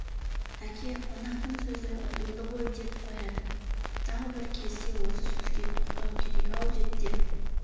әке қонақтың сөзі ұтымды ғой деп қояды тағы бір кезде осы сөзге тоқтау керек-ау деп те